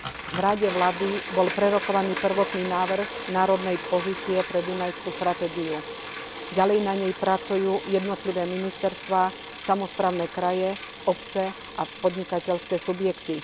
V Rade vlády bol prerokovaný prvotný návrh národnej pozície pre Dunajskú stratégiu. Ďalej na nej pracujú jednotlivé ministerstvá, samosprávne kraje, obce a podnikateľské subjekty.